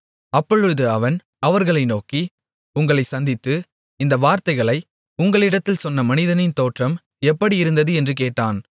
அப்பொழுது அவன் அவர்களை நோக்கி உங்களைச் சந்தித்து இந்த வார்த்தைகளை உங்களிடத்தில் சொன்ன மனிதனின் தோற்றம் எப்படி இருந்தது என்று கேட்டான்